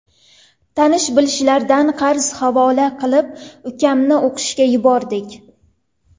Tanish-bilishlardan qarz havola qilib, ukamni o‘qishga yubordik.